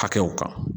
Hakɛw kan